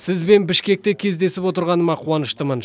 сізбен бішкекте кездесіп отырғаныма қуаныштымын